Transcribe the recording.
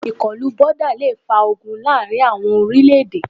Ìkọlù boda le fa ogun láàrin àwọn orílẹ̀-èdè.